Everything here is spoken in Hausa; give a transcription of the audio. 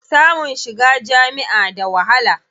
Samun shiga jami'a da wahala.